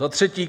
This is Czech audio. Za třetí.